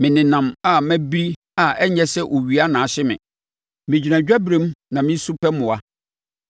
Menenam a mabiri a ɛnyɛ sɛ owia na ahye me; megyina adwaberem na mesu pɛ mmoa.